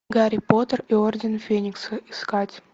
гарри поттер и орден феникса искать